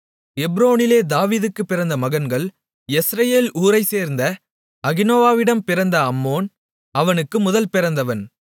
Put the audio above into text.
எப்ரோனிலே தாவீதுக்குப் பிறந்த மகன்கள் யெஸ்ரயேல் ஊரைச்சேர்ந்த அகினோவாமிடம் பிறந்த அம்னோன் அவனுக்கு முதல் பிறந்தவன்